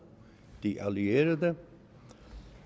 de allierede